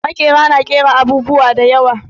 Maƙera na ƙera abubuwa da yawa.